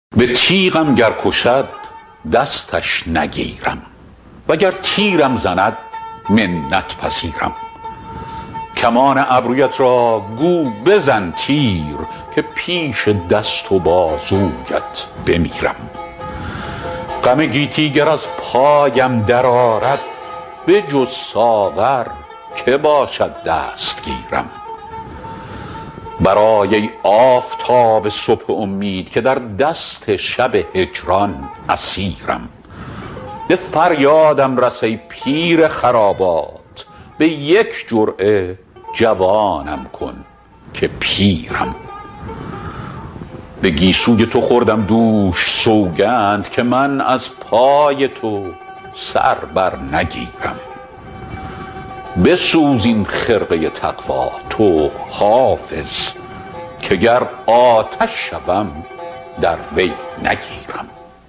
به تیغم گر کشد دستش نگیرم وگر تیرم زند منت پذیرم کمان ابرویت را گو بزن تیر که پیش دست و بازویت بمیرم غم گیتی گر از پایم درآرد بجز ساغر که باشد دستگیرم برآی ای آفتاب صبح امید که در دست شب هجران اسیرم به فریادم رس ای پیر خرابات به یک جرعه جوانم کن که پیرم به گیسوی تو خوردم دوش سوگند که من از پای تو سر بر نگیرم بسوز این خرقه تقوا تو حافظ که گر آتش شوم در وی نگیرم